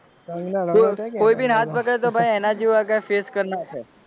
કંગના રણાવત કોઈભી હાથ પકડે એના જેવો face કરી નાખે.